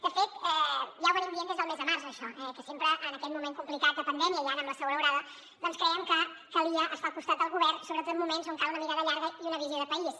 de fet ja ho estem dient des del mes de març això que sempre en aquest moment complicat de pandèmia i ara amb la segona onada doncs crèiem que calia estar al costat del govern sobretot en moments on cal una mirada llarga i una visió de país